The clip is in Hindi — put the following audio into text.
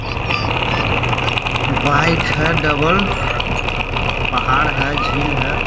बाइक है डबल पहाड़ है झील है ।